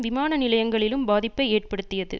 விமான நிலையங்களிலும் பாதிப்பை ஏற்படுத்தியது